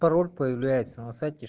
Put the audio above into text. пароль появляется на сайте